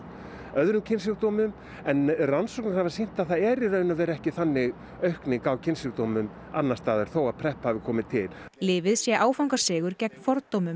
öðrum kynsjúkdómum en rannsóknir hafa sýnt að það er í raun og veru ekki þannig aukning í kynsjúkdómum annars staðar þó að hafi komið til lyfið sé áfangasigur gegn fordómum